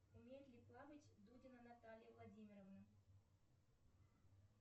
умеет ли плавать дудина наталья владимировна